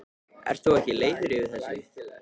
Ert þú ekki leiður yfir þessu?